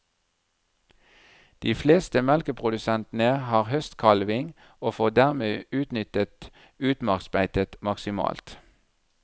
De fleste melkeprodusentene har høstkalving og får dermed utnyttet utmarksbeitet maksimalt.